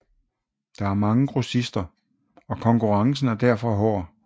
Der er mange grossister og konnkurrencen er derfor hård